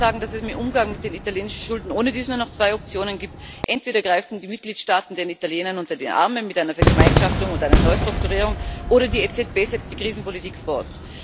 Die Experten sagen, dass es beim Umgang mit den italienischen Schulden ohnedies nur noch zwei Optionen gibt Entweder greifen die Mitgliedstaaten den Italienern unter die Arme mit einer Vergemeinschaftung und einer Neustrukturierung, oder die EZB setzt die Krisenpolitik fort.